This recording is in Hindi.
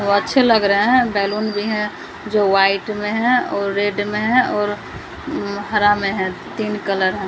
वो अच्छे लग रहे है बैलून भी है जो वाइट में है और रेड में है और अम्म हरा में है तीन कलर है।